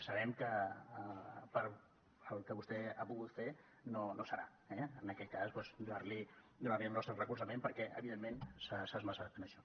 sabem que pel que vostè ha pogut fer no serà eh en aquest cas doncs donar li el nostre recolzament perquè evidentment s’ha esforçat en això